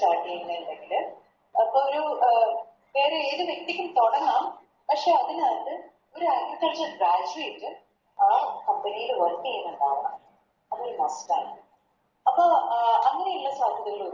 Crack ചെയ്യുന്നുണ്ടെങ്കില് അപ്പൊരു അഹ് അതായത് ഏത് വ്യക്തിക്കും തൊടങ്ങാം പക്ഷെ അതിനകത്ത് ഒര് Agriculture batteries ആ Company യില് Work ചെയ്യുന്നുണ്ടാവണം അത് Must അപ്പൊ അഹ് അങ്ങനെയുള്ള സാധ്യതകള്